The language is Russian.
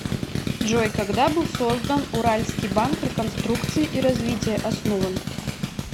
джой когда был создан уральский банк реконструкции и развития основан